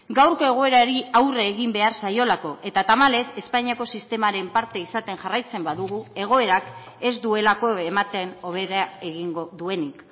gaurko egoerari aurre egin behar zaiolako eta tamalez espainiako sistemaren parte izaten jarraitzen badugu egoerak ez duelako ematen hobera egingo duenik